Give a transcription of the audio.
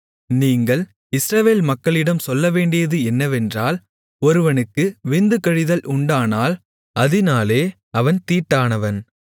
நீங்கள் இஸ்ரவேல் மக்களிடம் சொல்லவேண்டியது என்னவென்றால் ஒருவனுக்கு விந்து கழிதல் உண்டானால் அதினாலே அவன் தீட்டானவன்